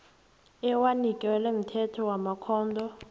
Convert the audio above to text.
ewanikelwe mthetho wamakhotho